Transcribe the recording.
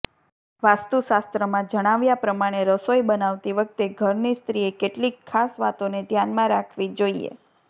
વાસ્તુશાસ્ત્રમાં જણાવ્યા પ્રમાણે રસોઈ બનાવતી વખતે ઘરની સ્ત્રીએ કેટલીક ખાસ વાતોને ધ્યાનમાં રાખવી જોઈએ